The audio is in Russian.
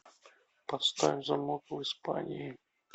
поставь замок в испании